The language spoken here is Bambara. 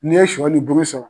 N'i ye sɔ ni buru sɔrɔ